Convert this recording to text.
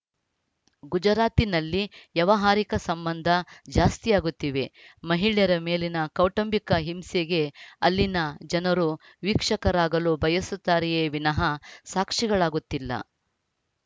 ಗುಜರಾತಿನಲ್ಲಿ ವ್ಯವಹಾರಿಕ ಸಂಬಂಧ ಜಾಸ್ತಿಯಾಗುತ್ತಿವೆ ಮಹಿಳೆಯರ ಮೇಲಿನ ಕೌಟುಂಬಿಕ ಹಿಂಸೆಗೆ ಅಲ್ಲಿನ ಜನರು ವೀಕ್ಷಕರಾಗಲು ಬಯಸುತ್ತಾರೆಯೇ ವಿನಃ ಸಾಕ್ಷಿಗಳಾಗುತ್ತಿಲ್ಲ